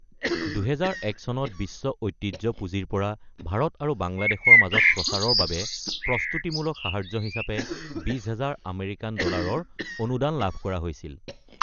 ২০০১ চনত বিশ্ব ঐতিহ্য পুঁজিৰ পৰা ভাৰত আৰু বাংলাদেশৰ মাজত প্ৰচাৰৰ বাবে প্ৰস্তুতিমূলক সাহায্য হিচাপে ২০ হাজাৰ আমেৰিকান ডলাৰৰ অনুদান লাভ কৰা হৈছিল।